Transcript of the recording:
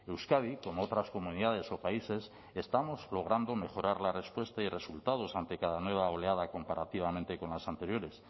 euskadi como otras comunidades o países estamos logrando mejorar la respuesta y resultados ante cada nueva oleada comparativamente con las anteriores